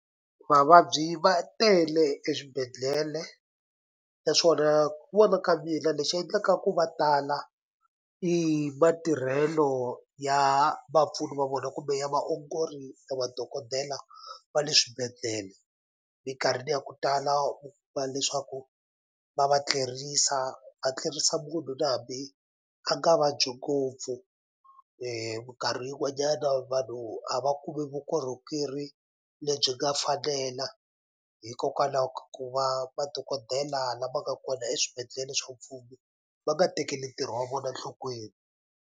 Vavabyi va tele eswibedhlele naswona ku vona ka mina lexi endlaka ku va tala i matirhelo ya vapfuni va vona kumbe ya vaongori na vadokodela va le swibedhlele minkarhini ya ku tala va leswaku va va tlerisa va tlerisa munhu na hambi a nga vabyi ngopfu mikarhi yin'wanyana vanhu a va kumi vukorhokeri lebyi nga falela hikokwalaho ku va madokodela lama nga kona eswibedhlele swa mfumo va nga tekeli ntirho wa vona nhlokweni.